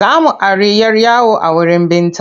Za mu ari 'yar yawo a wurin Binta.